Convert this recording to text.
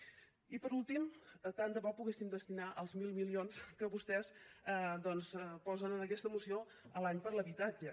i per últim tant de bo poguéssim destinar els mil milions que vostès doncs posen en aquesta moció l’any a l’habitatge